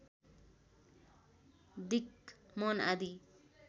दिक् मन आदि